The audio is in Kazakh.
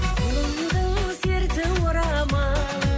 өмірдің серті орамал